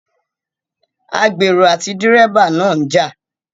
Agbèrò àti dẹ́ríbà náà ń jà